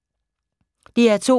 DR2